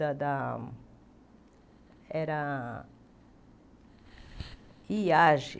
Da da da era Iage